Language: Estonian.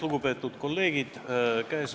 Lugupeetud kolleegid!